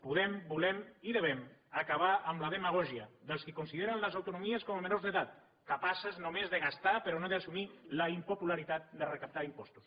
podem volem i hem d’acabar amb la demagògia dels qui consideren les autonomies com a menors d’edat capaces només de gastar però no d’assumir la impopularitat de recaptar impostos